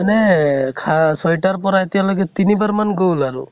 মানে খা ছয় টা ৰ পৰা এতিয়ালৈকে তিনিবাৰ মান গʼল আৰু ।